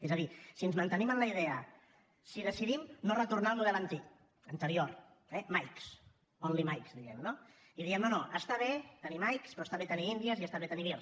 és a dir si ens mantenim en la idea si decidim no retornar al model antic anterior eh mike only mike diguem ne i diem no no està bé tenir mike però està bé tenir india i està bé tenir vir